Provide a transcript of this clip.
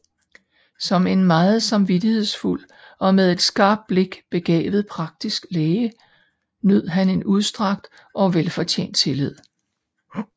Som en meget samvittighedsfuld og med et skarpt blik begavet praktisk læge nød han en udstrakt og velfortjent tillid